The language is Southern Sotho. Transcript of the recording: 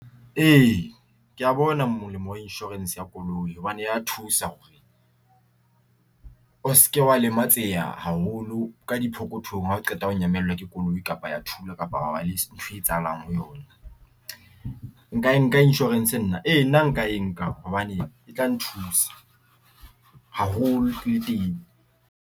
Ee, ke ya bona molemo wa insurance ya koloi hobane ya thusa hore o se ke wa lematseha haholo ka diphokothong hao qeta ho nyamellwa ke koloi ka kapa ya thula kapa ha bane le ntho e etsahalang ho yona. Nka e nka insurance nna? E nna nka e nka hobane e tla nthusa haholo le teng.